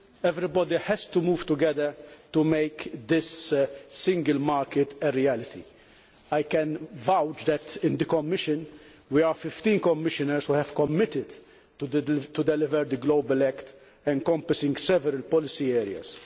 everybody has to move together to make this single market a reality. I can vouch that in the Commission we are 15 Commissioners who have committed to delivering the global act encompassing several policy areas.